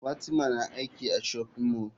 Fatima na aiki a shopping mall.